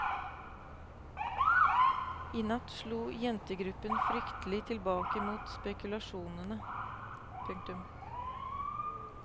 I natt slo jentegruppen fryktelig tilbake mot spekulasjonene. punktum